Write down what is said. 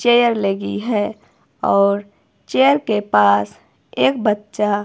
chair लगी है और चेयर के पास एक बच्चा--